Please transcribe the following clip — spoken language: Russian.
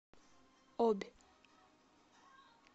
обь